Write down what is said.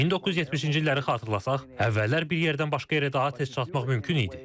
1970-ci illəri xatırlasaq, əvvəllər bir yerdən başqa yerə daha tez çatmaq mümkün idi.